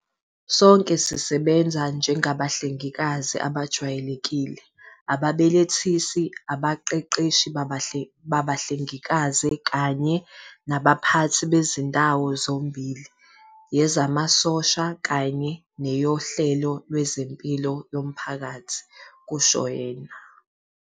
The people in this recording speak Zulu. "Sonke sisebenze njengabahlengikazi abajwayelekile, ababelethisi, abaqeqeshi babahlengikazi kanye nabaphathi bezindawo zombili yezamasosha kanye neyohlelo lwezempilo yomphakathi," kusho yena.